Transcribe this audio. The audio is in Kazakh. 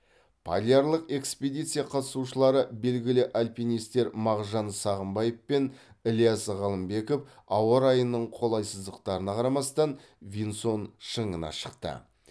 полярлық экспедиция қатысушылары белгілі альпинистер мағжан сағымбаев пен ілияс ғалымбеков ауа райының қолайсыздықтарына қарамастан винсон шыңына шықты